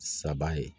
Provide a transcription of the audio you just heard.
Saba ye